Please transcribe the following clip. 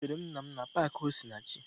Ezutere m nna m na paakị Osinachi